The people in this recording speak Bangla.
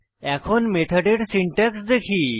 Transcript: এখন মেথডের সিনট্যাক্স দেখি